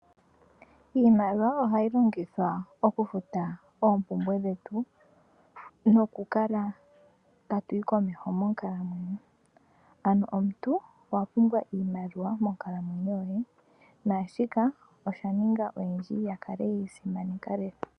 Iimaliwa ohayi longithwa oku futa oompumbwe dhetu, noku kala tatu yi komeho monkalamwenyo. Ano omuntu owa pumbwa iimaliwa monkalamwenyo yoye. Naashika osha ninga oyendji ya kale yeyi simaneka lela.